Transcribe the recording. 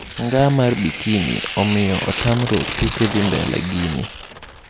Nnga mar Bikini omiyo otamruok tuke dhii mbele Guinea.